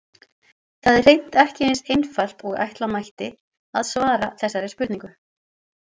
Það er hreint ekki eins einfalt og ætla mætti að svara þessari spurningu.